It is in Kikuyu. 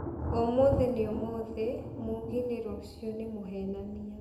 ũmũthĩ nĩ ũmũthĩ, mugi nĩ rũciũ nĩ mũhenania.